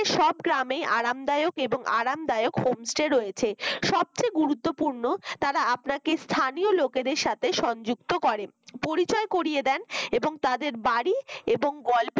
সব গ্রামে আরামদায়ক এবং আরামদায়ক homestay রয়েছে সবচেয়ে গুরুত্বপূর্ণ তারা আপনাকে স্থানীয় লোকেদের সাথে সংযুক্ত করে পরিচয় করিয়ে দেন এবং তাদের বাড়ি এবং গল্পের